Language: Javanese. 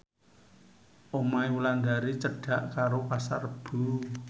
omahe Wulandari cedhak karo Pasar Rebo